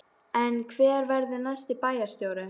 En hver verður næsti bæjarstjóri?